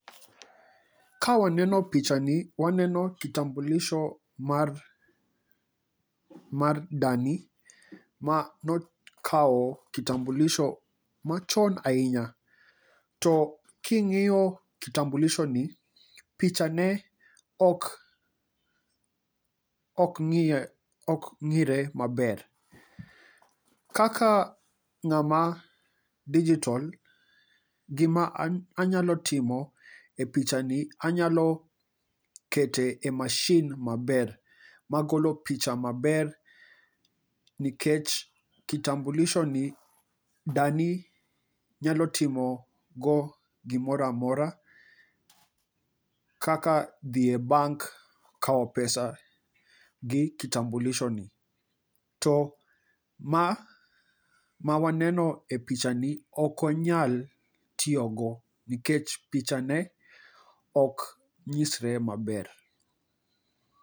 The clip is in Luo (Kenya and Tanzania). Kawaneno picha ni waneno kitambulisho mar, mar dani. Ma no kawo kitambulisho ma chon ahinya. To king'iyo kitambulisho ni, to picha ne ok ng'iye, ok ng'ire maber. Kaka ng'ama digital, gima anyalo timo e picha ni, anyalo keto e mashin maber. Magolo picha maber nikech kitambulisho ni dani nyalo timo go gimora mora, kaka dhi e bank kawo pesa gi kitambulisho ni. To ma mawaneno e picha ni okonyal tiyogo, nikech picha ne ok nyisre maber.